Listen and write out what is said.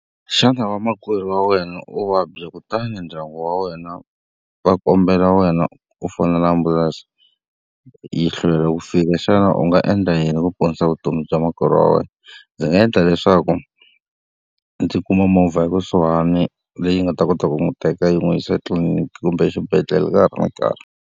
Xana vamakwerhu wa wena o vabya kutani ndyangu wa wena va kombela wena u fonela ambulense yi hlwela ku fika, xana u nga endla yini ku ponisa vutomi bya makwerhu wa wena? Ndzi nga endla leswaku ndzi kuma movha ekusuhani leyi nga ta kota ku n'wi teka yi n'wi yisa etliliniki kumbe exibedhlele ka ha ri na nkarhi.